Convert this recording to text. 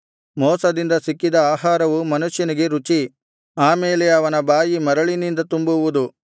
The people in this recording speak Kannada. ಮೋಸದಿಂದ ಸಿಕ್ಕಿದ ಆಹಾರವು ಮನುಷ್ಯನಿಗೆ ರುಚಿ ಆ ಮೇಲೆ ಅವನ ಬಾಯಿ ಮರಳಿನಿಂದ ತುಂಬುವುದು